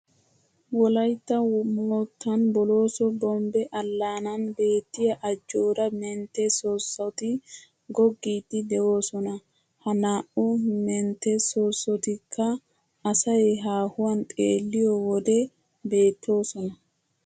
Wolaytta moottan Bolooso bombbe allaanan beettiya, ajjooraa mentte soossoti goggiiddi de"oosona. Ha naa"u mentte soossotikka asay haahuwan xeelliyo wode beettoosona.